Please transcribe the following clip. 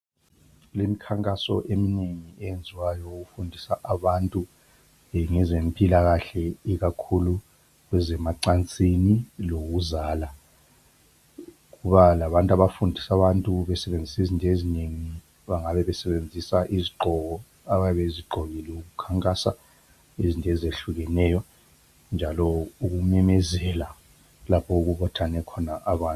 Kulemkhankaso eminengi eyenziwayo ukufundisa abantu ngezempilakahle ikakhulu kwezemacansini lokuzala. Kuba labantu abafundisa abantu besebenzisa izinto ezinengi, bangabe besebenzisa izigqoko ababezigqokile ukukhankasa izinto ezehlukeneyo njalo ukumemezela lapho okubuthane khona abantu.